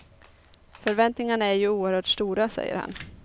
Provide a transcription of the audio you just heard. Förväntningarna är ju oerhört stora, säger han.